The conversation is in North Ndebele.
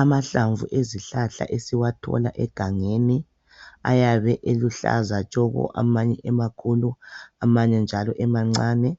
Amahlamvu ezihlahla esiwathola egangeni ayabe eluhlaza tshoko amanye emakhulu amanye njalo emancane.